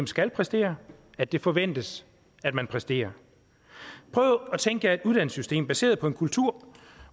skal præstere at det forventes at man præsterer prøv at tænke jer et uddannelsessystem baseret på en kultur